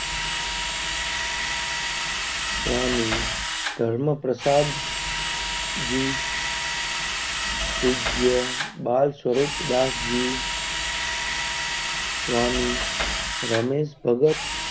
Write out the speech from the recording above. સ્વામી ધર્મ પ્રસાદ જી પૂજય બાલ સ્વરૂપ દાશ જી,